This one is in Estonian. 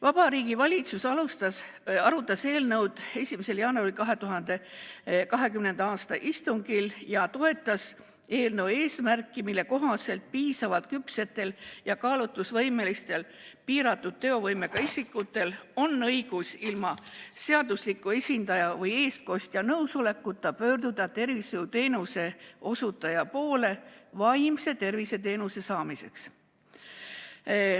Vabariigi Valitsus arutas eelnõu oma 9. jaanuari istungil ja toetas eelnõu eesmärki, mille kohaselt piisavalt küpsetel ja kaalutlusvõimelistel piiratud teovõimega isikutel on õigus ilma seadusliku esindaja või eestkostja nõusolekuta pöörduda tervishoiuteenuse osutaja poole vaimse tervise teenuse saamiseks.